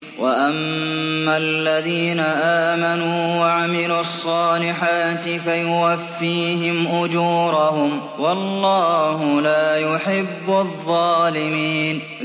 وَأَمَّا الَّذِينَ آمَنُوا وَعَمِلُوا الصَّالِحَاتِ فَيُوَفِّيهِمْ أُجُورَهُمْ ۗ وَاللَّهُ لَا يُحِبُّ الظَّالِمِينَ